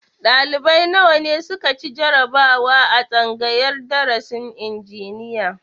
Ɗalibai nawa ne su ka ci jarabawa a tsangayar darasin injiniya?